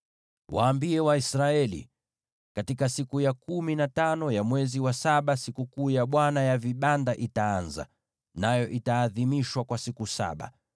“Waambie Waisraeli: ‘Katika siku ya kumi na tano ya mwezi wa saba, Sikukuu ya Bwana ya vibanda itaanza, nayo itaadhimishwa kwa siku saba.